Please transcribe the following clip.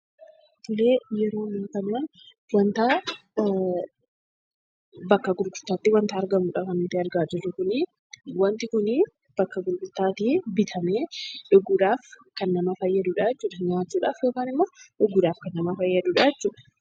Tolee, yeroo kanaa wantaa bakka gurgutaatti wanta argamuudha kan nuti argaa jirru kunii, wanti kunii bakka gurgutaatii bitamee dhuguudhaaf kan nama fayyadudhaa jechuudha. Nyaachuudhaaf yookiin ammoo dhuguudhaaf kan nama fayyadudhaa jechuudha